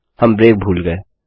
हम ब्रेक भूल गये